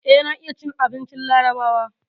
Eh, na iya cin abincin larabawa.